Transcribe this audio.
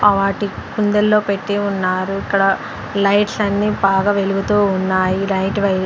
ఆటి కుందల్లో పెట్టి ఉన్నారు ఇక్కడ లైట్స్ అన్నీ బాగా వెలుగుతూ ఉన్నాయి నైట్ వై --